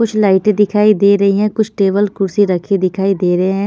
कुछ लाइटें दिखाई दे रही हैं कुछ टेबल कुर्सी रखी दिखाई देरे हैं।